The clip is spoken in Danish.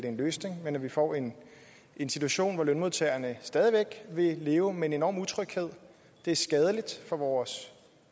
en løsning men vi får en en situation hvor lønmodtagerne stadig væk vil leve med en enorm utryghed det er skadeligt for vores